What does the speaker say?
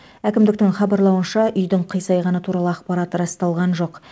әкімдіктің хабарлауынша үйдің қисайғаны туралы ақпарат расталған жоқ